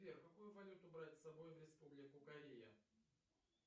сбер какую валюту брать с собой в республику корея